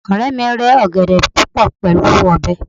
ọrẹ mi rẹ ọgẹdẹ púpò pẹlú ọbẹ